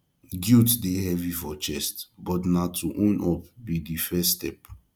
guilt dey heavy for chest but na to own up be the first step